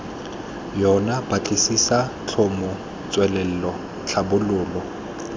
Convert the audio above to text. yona batlisisa tlhomo tswelelo tlhabololo